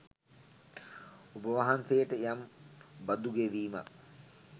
ඔබවහන්සේට යම් බදු ගෙවීමක්